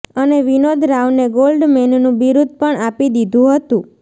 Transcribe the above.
અને વિનોદ રાવને ગોલ્ડ મેનનું બિરૂદ પણ આપી દીધું હતું